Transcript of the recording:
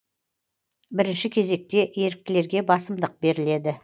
бірінші кезекте еріктілерге басымдық беріледі